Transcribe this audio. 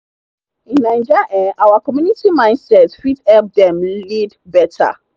in naija um our community mindset fit help dem lead better